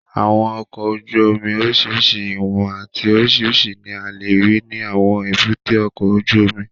Àwọn ọkọ̀ ojú omi oríṣiríṣi ìwọ̀n àti oríṣiríṣi ní a lè rí ní àwọn èbúté ọkọ̀ ojú omi